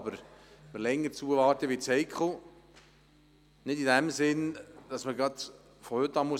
Doch wenn wir länger zuwarten, wird es heikel, zwar nicht in dem Sinn, dass wir gleich heute das Schlimmste befürchten müssen.